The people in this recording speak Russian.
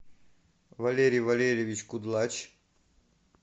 валерий валерьевич кудлач